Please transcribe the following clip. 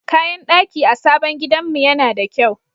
Kayan daki a sabon gidanmu yana da kyau.